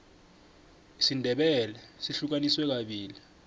isindebele sihlukaniswe kabili